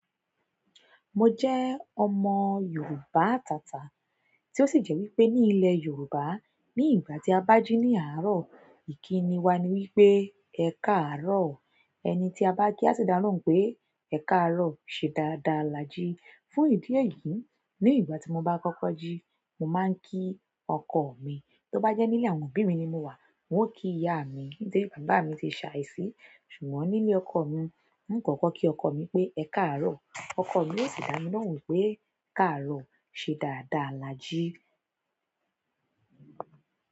Mo jẹ́ ọmọ Yorùbá atata, tí ó sì jẹ́ wípé ní ilé Yorùbá ní ìgbà tí a bá jí ní àárọ̀, ìkíni wa ni wípé "Ẹ káàárọ̀". Ẹni tí a bá kí á sì dá lóhùn pé "Ẹ káàárọ̀" ṣe dáadáa là jí. Fún ìdí èyí, ní ìgbà tí mo bá kọ́kọ́ jí, mo máa ń kí ọkọ mi. Tó bá jẹ́ nílé àwọn òbí mi ni mo wà, n ó kí ìyá mi, nítorí bàbá mi ti ṣàìsí. Ṣùgbọ́n nílé ọkọ mi, n ó kọ́kọ́ kí ọkọ mi pé "Ẹ káàárọ̀", ọkọ mi yóò sì dá mi lóhùn wípé "Káàárọ̀, ṣe dáadáa là jí".